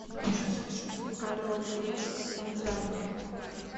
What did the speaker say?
орел и решка танзания